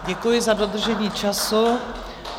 Děkuji za dodržení času.